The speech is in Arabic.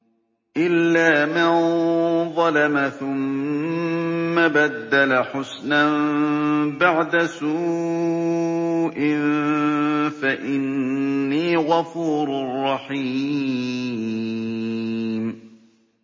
إِلَّا مَن ظَلَمَ ثُمَّ بَدَّلَ حُسْنًا بَعْدَ سُوءٍ فَإِنِّي غَفُورٌ رَّحِيمٌ